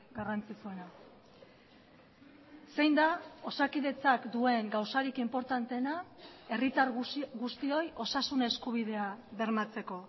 garrantzitsuena zein da osakidetzak duen gauzarik inportanteena herritar guztioi osasun eskubidea bermatzeko